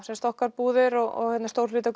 okkar búðir og stór hluti af